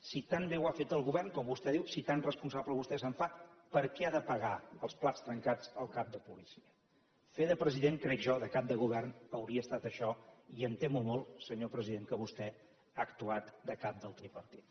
si tan bé ho ha fet el govern com vostè diu si tan responsable vostè se’n fa per què ha de pagar els plats trencats el cap de policia fer de president crec jo de cap de govern hauria estat això i em temo molt senyor president que vostè ha actuat de cap del tripartit